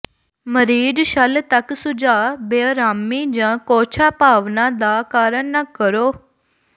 ਮਰੀਜ਼ ਛਲ ਤੱਕ ਸੁਝਾਅ ਬੇਅਰਾਮੀ ਜ ਕੋਝਾ ਭਾਵਨਾ ਦਾ ਕਾਰਨ ਨਾ ਕਰੋ